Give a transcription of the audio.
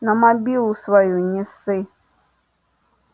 на мобилу свою не ссы